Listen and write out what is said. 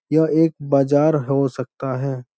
यह एक बाजार हो सकता है।